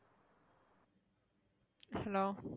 hello